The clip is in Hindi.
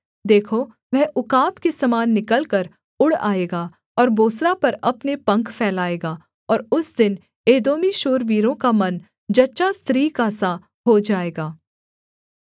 देखो वह उकाब के समान निकलकर उड़ आएगा और बोस्रा पर अपने पंख फैलाएगा और उस दिन एदोमी शूरवीरों का मन जच्चा स्त्री का सा हो जाएगा